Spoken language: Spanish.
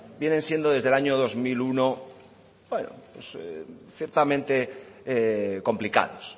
vienen siendo desde el año dos mil uno ciertamente complicados